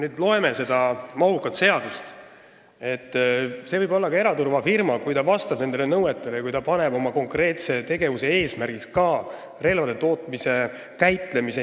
Kui me loeme seda mahukat seadust, siis see võib olla ka eraturvafirma, kui ta vastab nõuetele ja kui ta paneb oma konkreetse tegevuse eesmärgiks ka relvade tootmise, käitlemise.